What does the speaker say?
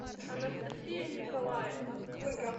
анастасия николаевна